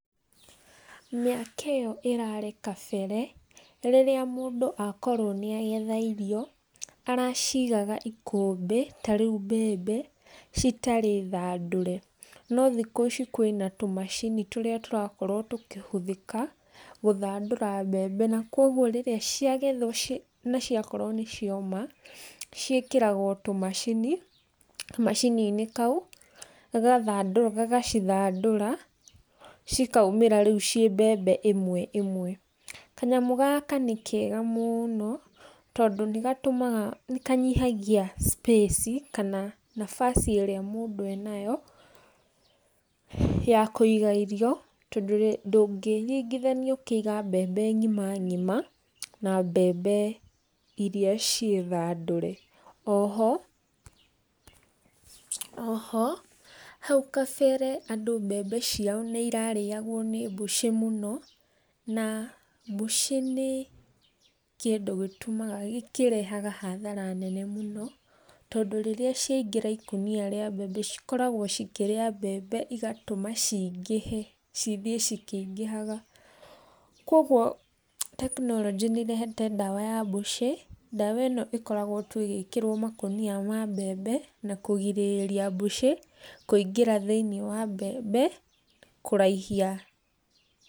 Mĩaka ĩyo ĩrarĩ kabere rĩrĩa mũndü akorwo nĩ agetha irio, aracigaga ikũmbĩ ta rĩu mbembe citarĩ thandũre, no thikũ ici kwĩna tũmacini tũrĩa tũrakorwo tũkĩhũthĩka gũthandũra mbembe na kũoguo rĩrĩa ciagethwo na ciakorwo nĩ cioma, ciĩkĩragwo kamacini, kamacinĩ kau, gagacithandũra cikaumĩra rĩu ciĩ mbembe ĩmwe ĩmwe. Kanyamũ gaka nĩ keega mũno tondũ nĩgatũmaga, nĩkanyihagia cipaci kana nabaci ĩrĩa mũndũ enayo ya kũiga irio tondũ ndũngĩringithania ũkĩiga mbembe ng'ima ng'ima na mbembe iria ciĩthandũre. Oho, oho hau kabere andũ mbembe ciao nĩirarĩagwo nĩ mbũca mũno na mbũca nĩ kĩndũ gĩtũmaga, kĩrehaga hathara tondũ rĩrĩa ciaingĩra ikũnia rĩa mbembe cikoragwo cikĩrĩa mbembe igatũma cingĩhe, cithiĩ cikĩingĩhaga. Kũoguo tekinoronjĩ nĩ ĩrehete ndawa ya mbũca, ndawa ĩno ĩkoragwo tu ĩgĩkĩrwo makũnia ma mbembe na kũrigĩrĩria mbũca kũingĩra thĩiniĩ wa mbembe kũraihia.